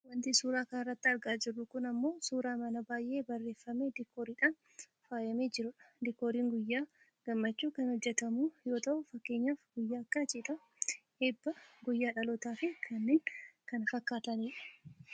Wanti suuraa kanarratti argaa jiru kun ammoo suuraa mana baayyee bareeffamee diikooriidhaan faayyamee jiruudha. Diikooriin guyyaa gammachuu kan hojjatamu yoo ta'u fakkeenyaaf guyyaa akka cidhaa, eebbaa, guyyaa dhalootaafi kanneen kana fakkaatanidha.